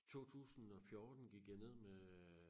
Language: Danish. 2014 gik jeg ned med øh